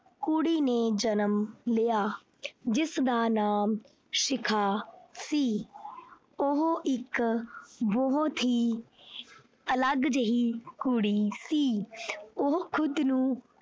ਕੁੜੀ ਨੇ ਜਨਮ ਲਿਆ ਜਿਸ ਦਾ ਨਾਮ ਸ਼ਿਖਾ ਸੀ ਉਹ ਇੱਕ ਬਹੁਤ ਹੀ ਅਲੱਗ ਜਿਹੀ ਕੁੜੀ ਸੀ ਉਹ ਖੁਦ ਨੂੰ।